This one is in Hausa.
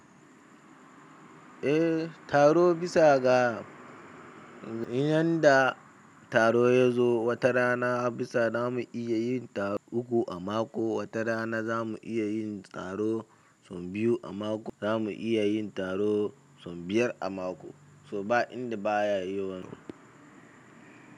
Eh taro bisa ga iyan da taro ya zo, wata rana bisa zamu iya yin taro uku a mako, wata rana zamu iya yin taro son biyu a mako, zamu iya yin taro son biyar a mako. To ba inda baya yowan.